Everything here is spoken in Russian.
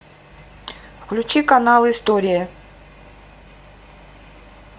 включи канал история